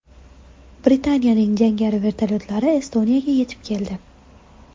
Britaniyaning jangari vertolyotlari Estoniyaga yetib keldi.